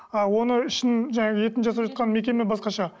а оны ішін жаңағы етін жасап жатқан мекеме басқаша